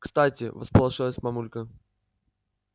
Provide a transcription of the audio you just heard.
кстати всполошилась мамулька